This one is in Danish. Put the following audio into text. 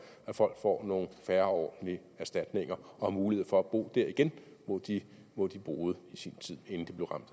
at folk får nogle fair og ordentlige erstatninger og har mulighed for at bo der igen hvor de hvor de boede i sin tid inden de blev ramt